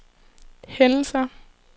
hændelser